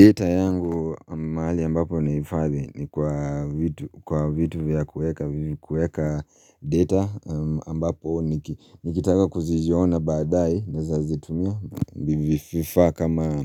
Data yangu mahali ambapo nahifadhi ni kwa vitu vya kuweka data ambapo nikitaka kuziziona baadae naweza zitumia vifaa kama